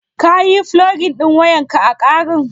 Ka yi fulogin wayan ƙa a ƙarin?